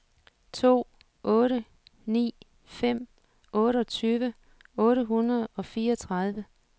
to otte ni fem otteogtyve otte hundrede og fireogtredive